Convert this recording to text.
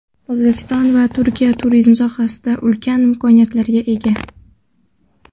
O‘zbekiston va Turkiya turizm sohasida ulkan imkoniyatlarga ega.